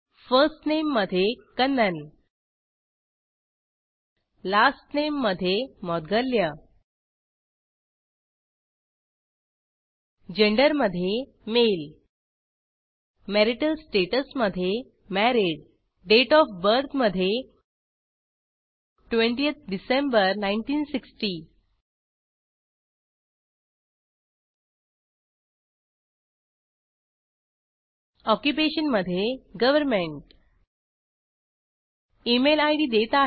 first name मध्ये Kannan last name मध्ये Maudgalya gender मध्ये माळे मॅरिटल स्टॅटस मध्ये मॅरीड दाते ओएफ बर्थ मध्ये 20थ डिसेंबर 1960 ऑक्युपेशन मध्ये गव्हर्नमेंट इमेल इद देत आहे